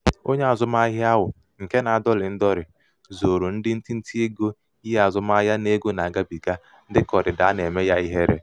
onye azụmahịa ahụ nke na-adọlị ndọlị zooro ndị ntinteego ihe azụmahịa na ego na-agabiga dịka ọdịda a na-eme ya ihere.